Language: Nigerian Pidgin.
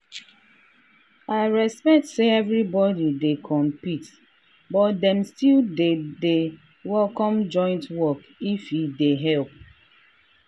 i respect say everybody dey compete but dem still dey dey welcome joint work if e dey help.